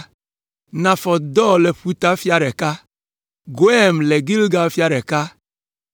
Nafɔt Dor le ƒuta fia ɖeka. Goim le Gilgal fia ɖeka